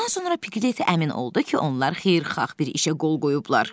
Bundan sonra Piglet əmin oldu ki, onlar xeyirxah bir işə qol qoyublar.